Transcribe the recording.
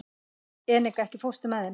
Enika, ekki fórstu með þeim?